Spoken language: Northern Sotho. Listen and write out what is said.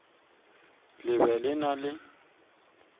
le be le na le